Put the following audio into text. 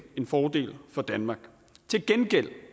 en fordel for danmark til gengæld